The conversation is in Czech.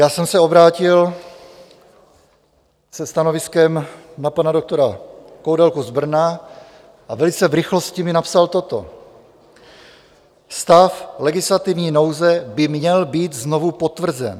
Já jsem se obrátil se stanoviskem na pana doktora Koudelku z Brna a velice v rychlosti mi napsal toto: "Stav legislativní nouze by měl být znovu potvrzen.